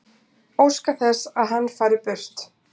Óska þess að hann fari burt.